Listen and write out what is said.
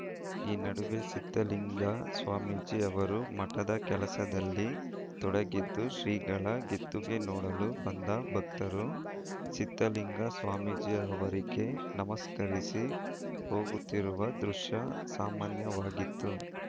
ಈ ನಡುವೆ ಸಿದ್ಧಲಿಂಗ ಸ್ವಾಮೀಜಿ ಅವರು ಮಠದ ಕೆಲಸದಲ್ಲಿ ತೊಡಗಿದ್ದು ಶ್ರೀಗಳ ಗೆದ್ದುಗೆ ನೋಡಲು ಬಂದ ಭಕ್ತರು ಸಿದ್ಧಲಿಂಗ ಸ್ವಾಮೀಜಿ ಅವರಿಗೆ ನಮಸ್ಕರಿಸಿ ಹೋಗುತ್ತಿರುವ ದೃಶ್ಯ ಸಾಮಾನ್ಯವಾಗಿತ್ತು